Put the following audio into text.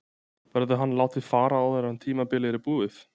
Verður hann látinn fara áður en tímabilið er búið?